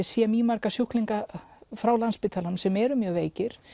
sé marga sjúklinga frá sem eru mjög veikir